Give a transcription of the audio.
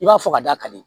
I b'a fɔ ka da kadi